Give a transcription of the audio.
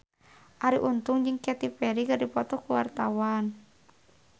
Arie Untung jeung Katy Perry keur dipoto ku wartawan